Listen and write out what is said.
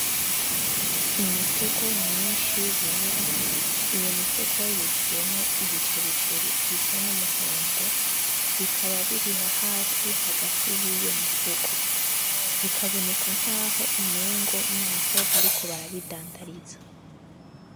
Imifuko myinshi yera, iyo mifuko yuzuyemwo ibicericeri bisa n'umuhondo bikaba biri nahasi yiyo mifuko, bikaboneka nkaho umengo naho bariko barabidandariza.